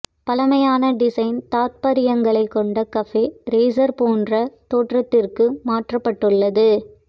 பழமையான டிசைன் தாத்பரியங்களை கொண்ட கஃபே ரேஸர் போன்ற தோற்றத்திற்கு மாற்றப்பட்டுள்ளது